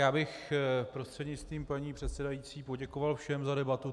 Já bych prostřednictvím paní předsedající poděkoval všem za debatu.